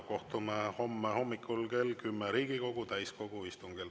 Kohtume homme hommikul kell 10 Riigikogu täiskogu istungil.